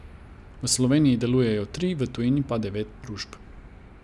V Sloveniji delujejo tri, v tujini pa devet družb.